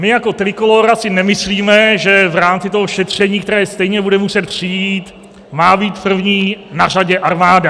My jako Trikolóra si nemyslíme, že v rámci toho šetření, které stejně bude muset přijít, má být první na řadě armáda.